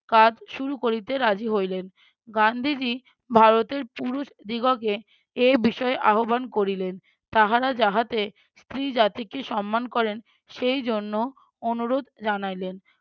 কাজ শুরু করিতে রাজি হইলেন গান্ধীজী ভারতের পুরুষদিগকে এ বিষয়ে আহব্বান করিলেন। তাহারা যাহাতে স্ত্রী জাতিকে সম্মান করেন সেই জন্য অনুরোধ জানাইলেন।